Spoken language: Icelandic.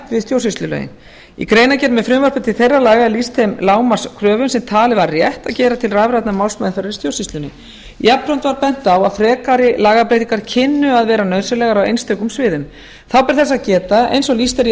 við stjórnsýslulögin í greinargerð með frumvarpi til þeirra laga er lýst þeim lágmarkskröfum sem talið var rétt að gera til rafrænnar málsmeðferðar í stjórnsýslunni jafnframt var bent á að frekari lagabreytingar kynnu að vera nauðsynlegar á einstökum sviðum þá ber þess að geta eins og lýst er í